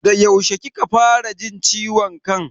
Da yaushe kika fara jin ciwon kan?